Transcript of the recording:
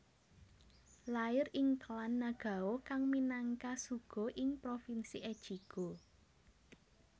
Lair ing klan Nagao kang minangka shugo ing provinsi Echigo